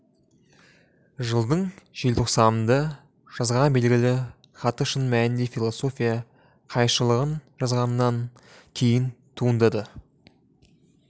жылдың желтоқсанында жазған белгілі хаты шын мәнінде философия қайыршылығын жазғаннан кейін туындады